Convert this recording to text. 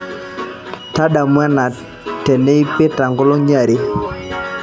tadamu ena teneipita nkolongi are